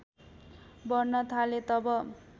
बढ्न थाले तब